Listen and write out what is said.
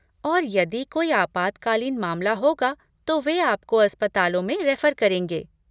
और यदि कोई आपातकालीन मामला होगा तो वे आपको अस्पतालों में रेफर करेंगे।